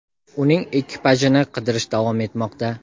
uning ekipajini qidirish davom etmoqda.